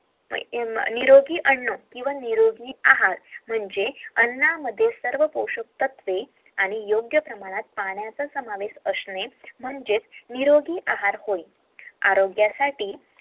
निरोगी अन्न किवहा निरोगी आहार म्हणजे अण्णा मध्ये सर्व पोशाक तत्व असामे म्हणजेच निरोगी आहार होय